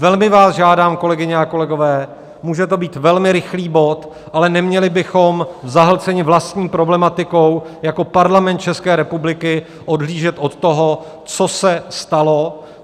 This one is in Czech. Velmi vás žádám, kolegyně a kolegové, může to být velmi rychlý bod, ale neměli bychom zahlceni vlastní problematikou a jako Parlament České republiky odhlížet od toho, co se stalo.